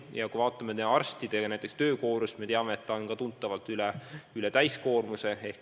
Kui me vaatame arstide töökoormust, siis näeme, et see on tunduvalt üle täiskoormuse.